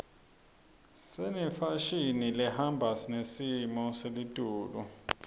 senefashini lehamba nesimo seletulu